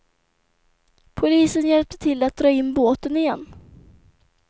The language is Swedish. Polisen hjälpte till att dra in båten igen.